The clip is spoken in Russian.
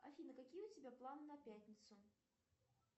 афина какие у тебя планы на пятницу